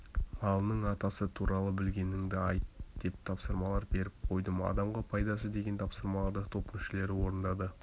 малының атасы туралы білгеніңді айт деген тапсырмалар бердім қойдың адамға пайдасы деген тапсырмаларды топ мүшелері орындады